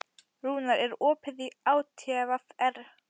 Rúnar, er opið í ÁTVR?